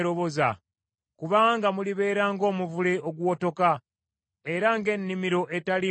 Kubanga mulibeera ng’omuvule oguwotoka era ng’ennimiro etaliimu mazzi.